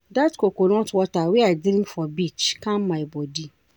Dat coconut water wey I drink for beach calm my bodi.